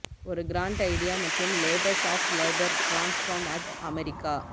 ஒரு grand idea மற்றும் labours of labour transform at America